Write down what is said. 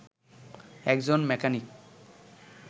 একজন মেকানিক